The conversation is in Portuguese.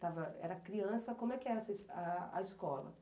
estava era criança, como é que era essa es a a escola?